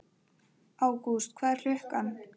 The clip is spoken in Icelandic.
Ágúst, hvað er klukkan?